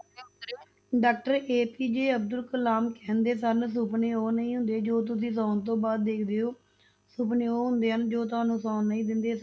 Doctor APJ Abdul Kalam ਕਹਿੰਦੇ ਸਨ, ਸੁਪਨੇ ਉਹ ਨਹੀਂ ਹੁੰਦੇ ਜੋ ਤੁਸੀਂ ਸੌਣ ਤੋਂ ਬਾਅਦ ਦੇਖਦੇ ਹੋ, ਸੁਪਨੇ ਉਹ ਹੁੰਦੇ ਹਨ, ਜੋ ਤੁਹਾਨੂੰ ਸੌਣ ਨਹੀਂ ਦਿੰਦੇ,